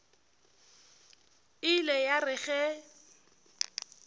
e ile ya re ge